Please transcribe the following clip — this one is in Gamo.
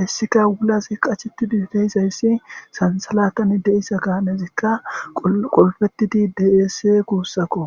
haysika wulazi qashetidi de'izaysi sansalatan de'iza gaanezika qulfetidi deese gusako.